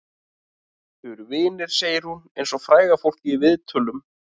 Þau eru vinir, segir hún eins og fræga fólkið í viðtölum.